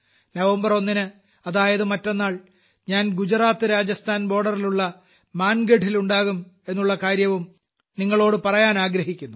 November ഒന്നിന് അതായത് മറ്റന്നാൾ ഞാൻ ഗുജറാത്ത് രാജസ്ഥാൻ ബോർഡറിലുള്ള മാൻഗഢിലുണ്ടാകും എന്നുള്ള കാര്യവും നിങ്ങളോട് പറയാനാഗ്രഹിക്കുന്നു